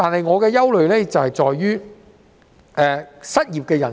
我的憂慮在於失業人數。